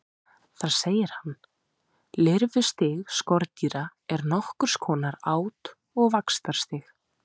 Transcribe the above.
Þar segir hann: Lirfustig skordýra er nokkurs konar át- og vaxtarstig.